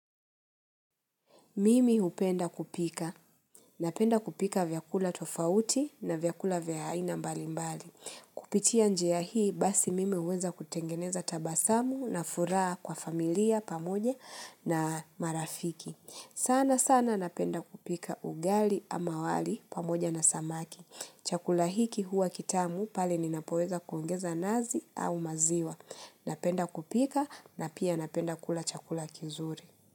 Mimi hupenda kupika. Napenda kupika vyakula tofauti na vyakula vya aina mbali mbali. Kupitia njia hii basi mimi uweza kutengeneza tabasamu nafuraa kwa familia pamoja na marafiki. Sana sana napenda kupika ugali ama wali pamoja na samaki. Chakula hiki huwa kitamu pale ninapoweza kuongeza nazi au maziwa. Napenda kupika na pia napenda kula chakula kizuri.